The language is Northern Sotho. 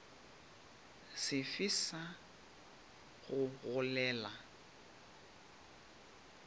se fe sa go gogela